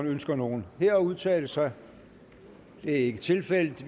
ønsker nogen her at udtale sig det er ikke tilfældet